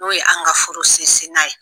N'o ye an ka Furu sinsinan ye.